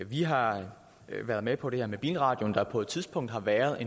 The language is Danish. vi har været med på det her med bilradioen der på et tidspunkt har været